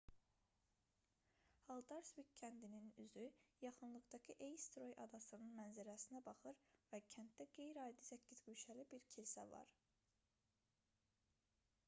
haldarsvik kəndinin üzü yaxınlıqdakı eysturoy adasının mənzərəsinə baxır və kənddə qeyri-adi səkkizguşəli bir kilsə var